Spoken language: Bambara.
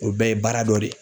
O bɛɛ ye baara dɔ de ye.